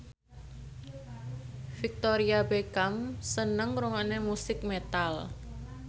Victoria Beckham seneng ngrungokne musik metal